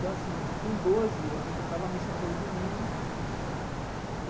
Então assim com doze, eu frequentava a missa todo domingo.